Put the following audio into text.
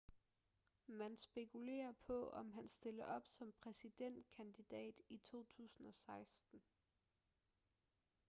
man spekulerer på om han stiller op som præsidentkandidat i 2016